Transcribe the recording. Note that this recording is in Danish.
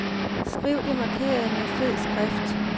Skriv det markerede med fed skrift.